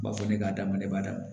U b'a fɔ ne k'a dama ne b'a d'a ma